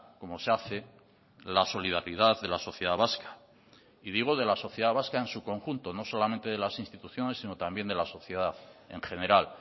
como se hace la solidaridad de la sociedad vasca y digo de la sociedad vasca en su conjunto no solamente de las instituciones sino también de la sociedad en general